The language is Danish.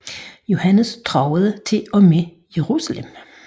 Johannes truede til og med Jerusalem